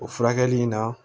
O furakɛli in na